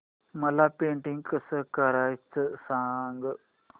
मला पेंटिंग कसं करायचं सांग